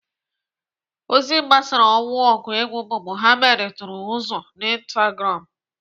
Ozi gbasara ọnwụ ọgụ egwu bụ Mohbad tụrụ ụzụ na Instagram.